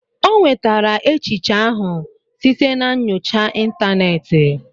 O nwetara echiche ahụ site na nyocha ịntanetị